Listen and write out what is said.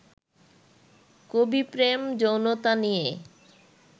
কবি প্রেম যৌনতা নিয়ে